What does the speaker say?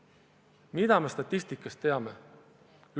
Mida me statistikast teame?